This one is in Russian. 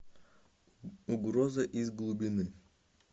угроза из глубины